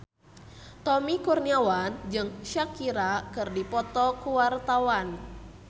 Tommy Kurniawan jeung Shakira keur dipoto ku wartawan